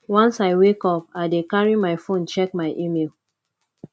once i wake up i dey carry my fone check my email